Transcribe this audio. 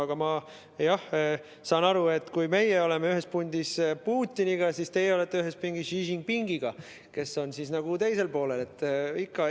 Aga ma jah, saan aru, et kui meie oleme ühes pundis Putiniga, siis teie olete ühes pingis Xi Jinpingiga, kes on nagu teisel poolel.